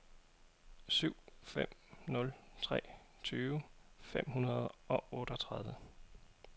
syv fem nul tre tyve fem hundrede og otteogtredive